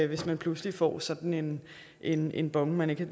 hvis man pludselig får sådan en en bon man ikke